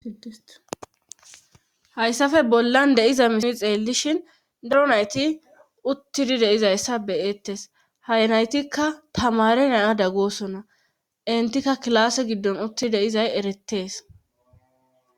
hayssafe bollan deiza misile xeellishin daro nayti uttidi deizayssa beyeettes haynaytikka tamare naya dag goosonna intikka kilaase giddon utti deizay eretees